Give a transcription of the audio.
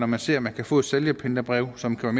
man ser at man kan få et sælgerpantebrev som kan